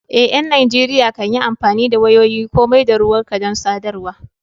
Eh, ƴan Najeriya kan yi amfani da wayoyin komai da ruwanka don sadarwa.